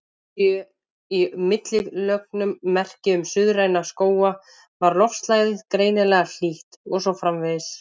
Séu í millilögunum merki um suðræna skóga var loftslagið greinilega hlýtt, og svo framvegis.